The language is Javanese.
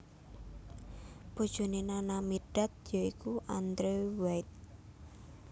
Bojoné Nana Mirdad ya iku Andrew White